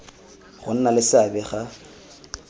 go nna le seabe ga